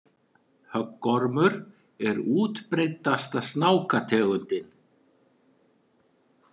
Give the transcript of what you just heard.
Höggormur er útbreiddasta snákategundin.